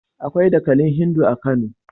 Akwai dakalin Hindu a Kano.